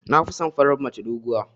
Nafison farar mace doguwa.